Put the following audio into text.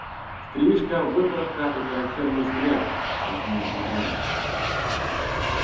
стрижка выправка и характерный взгляд пояснил бедренец